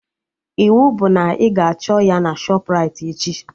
Iwu bụ na ị ga-achọ ya na Shọpraịti echi!